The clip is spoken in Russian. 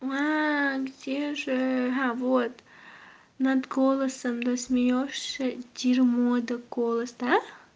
где же а вот над голосом да смеёшься дерьмо это голос да